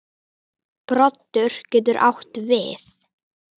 Broddur getur átt við